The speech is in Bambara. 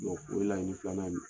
O laɲini filana ye